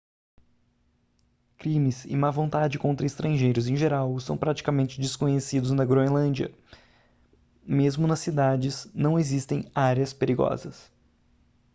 crimes e má vontade contra estrangeiros em geral são praticamente desconhecidos na groenlândia mesmo nas cidades não existem áreas perigosas